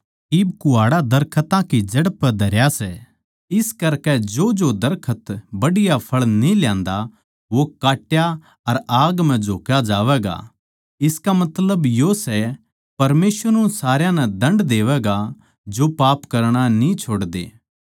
इब कुहाड़ा दरखतां की जड़ पै धरया सै इस करकै जोजो दरखत बढ़िया फळ न्ही ल्यांदा वो काट्या अर आग म्ह झोक्या जावैगा इसका मतलब यो सै परमेसवर उन सारया नै दण्ड देवैगा जो पाप करणा न्ही छोड़ते